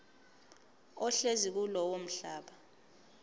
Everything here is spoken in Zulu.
ohlezi kulowo mhlaba